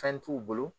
Fɛn t'u bolo